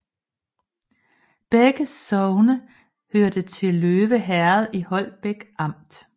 Begge sogne hørte til Løve Herred i Holbæk Amt